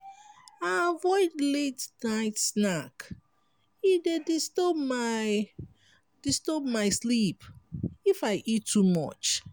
i avoid late-night snack e dey disturb my disturb my sleep if i eat too much.